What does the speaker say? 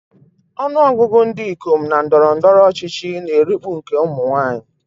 Ọnụ ọgụgụ ndị ikom na ndọrọ ndọrọ ọchịchị na-erikpu nke ụmụ nwaanyị.